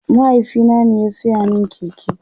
mahaifina ne ya saya min keke